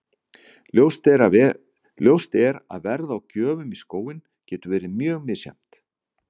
Ljóst er að verð á gjöfum í skóinn getur verið mjög misjafnt.